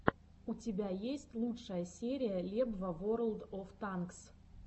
у тебя есть лучшая серия лебва ворлд оф танкс